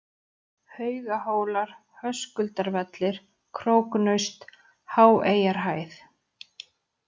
Haugahólar, Höskuldarvellir, Króknaust, Háeyjarhæð